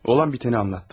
Olan bitəni anlattı.